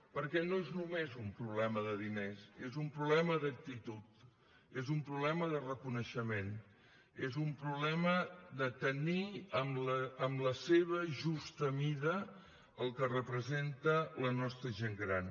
perquè no és només un problema de diners és un problema d’actitud és un problema de reconeixement és un problema de tenir en la seva justa mida el que representa la nostra gent gran